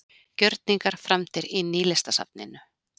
Gjörningar framdir í Nýlistasafninu